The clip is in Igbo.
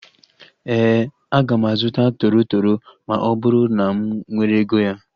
Éè, aga m azụta toro toro ma ọ bụrụ na m nwere ego ya